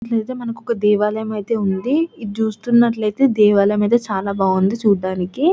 ఇక్కడ అయితే ఒక దేవాలయం అయితే ఉన్నది ఇది చూస్తున్నట్టు అయితే దేవాలయం చాలా బాగా ఉన్నది చుడడ్స్నికి.